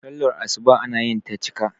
sallar asuba ana yinta cika